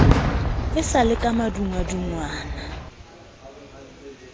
e sa le ka madungwadungwana